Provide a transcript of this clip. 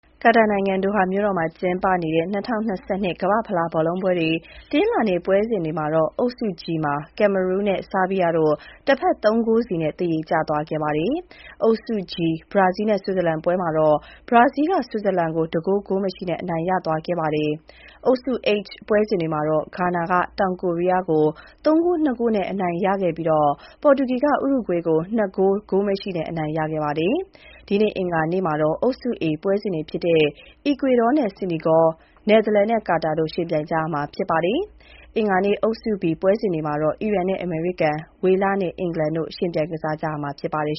ကာတာနိုင်ငံ၊ ဒိုဟာမှာကျင်းပနေတဲ့ 2022 ကမ္ဘာ့ဖလားဘောလုံးပွဲ တနင်္လာနေ့ ပွဲစဉ်တွေမှာတော့ အုပ်စု G မှာ Cameroon နဲ့ ဆားဘီးယားတို့ တဖက် ၃ ဂိုးစီ သရေကျသွားခဲ့ပါတယ်။ အုပ်စု G ဘရာဇီး နဲ့ ဆွစ်ဇာလန်ပွဲမှာ ဘရားဇီးက ဆွစ်ဇာလန်ကို တဂိုး ဂိုးမရှိနဲ့ အနိုင်ရသွားခဲ့ပါတယ်။ အုပ်စု H ပွဲစဉ်တွေမှာတော့ ဂါနာက တောင်ကိုရီးယားကို ၃ ဂိုး ၂ ဂိုးနဲ့ အနိုင်ရခဲ့ပြီး ပေါ်တူဂီက ဥရုဂွေးကို ၂ ဂိုး ဂိုးမရှိနဲ့ အနိုင်ရခဲ့ပါတယ်။ ဒီနေ့ အင်္ဂါနေ့မှာတော့ အုပ်စု A ပွဲစဉ်တွေဖြစ်တဲ့ အီကွေဒေါနဲ့ စီနီဂေါ၊ နယ်သာလန်နဲ့ ကာတာ တို့ ယှဉ်ပြိုင်ကြမှာ ဖြစ်ပါတယ်။ အင်္ဂါနေ့ အုပ်စု B ပွဲစဉ်တွေမှာတော့ အီရန်နဲ့ အမေရိကန်၊ ဝေလနဲ့ အင်္ဂလန်တို့ ယှဉ်ပြိုင်ကစားကြမှာ ဖြစ်ပါတယ်